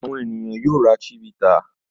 Àwọn ènìyàn yóò ra Chivita.